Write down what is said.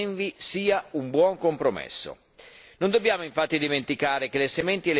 Ritengo che il testo approvato dalla nostra commissione ENVI sia un buon compromesso.